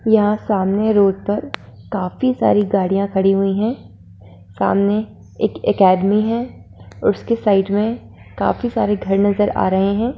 यहाँ सामने रोड पर काफी सारी गाड़ियां खड़ी हुई हैं। सामने एक अकैडमी है। उसकी साइड में काफी सारे घर नजर आ रहे हैं।